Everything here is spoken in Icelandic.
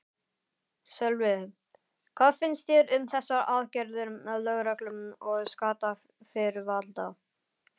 Sölvi, hvað finnst þér um þessar aðgerðir lögreglu og skattayfirvalda?